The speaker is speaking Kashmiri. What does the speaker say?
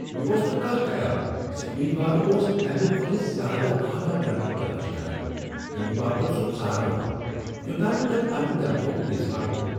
مےٚ اوس نہٕ كانہہ خیال زِ امیدوار اوس تمہ کھوتہٕ زیادٕ اعلی درجٕہ تلاش كران ییمہِ باپت سوٗ ژارنہٕ آو ، یوٚتام نہٕ تمۍ پنٛنہ تنخواہک اظہار کوٚر۔